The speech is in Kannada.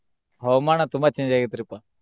ಹವಾಮಾನ ತುಂಬಾ change ಆಗೆತ್ರಿಪಾ.